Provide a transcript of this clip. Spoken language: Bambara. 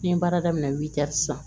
N ye baara daminɛ sisan